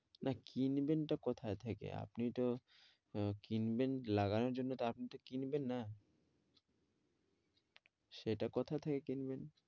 না কিনবেন টা কোথায় থেকে আপনি তো আহ আপনি তো কিনবেন লাগানোর জন্য আপনি তো কিনবেন না সেটা কোথা থেকে কিনবেন?